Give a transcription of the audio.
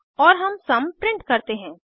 और हम some print करते हैं